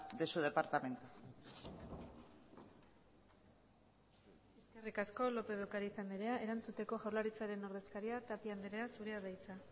de su departamento eskerrik asko lópez de ocáriz andrea erantzuteko jaurlaritzaren ordezkaria tapia andrea zurea da hitza